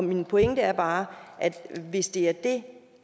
min pointe er bare at hvis det er det